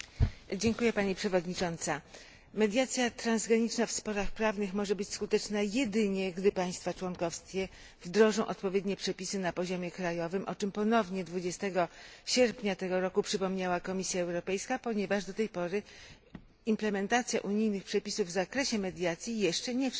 Mediacja transgraniczna w sporach prawnych może być skuteczna jedynie, gdy państwa członkowskie wdrożą odpowiednie przepisy na poziomie krajowym, o czym ponownie 20 sierpnia tego roku przypomniała Komisja Europejska, ponieważ do tej pory implementacja unijnych przepisów w zakresie mediacji jeszcze nie wszędzie została